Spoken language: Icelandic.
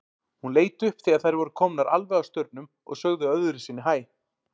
Hún leit upp þegar þær voru komnar alveg að staurnum og sagði öðru sinni hæ.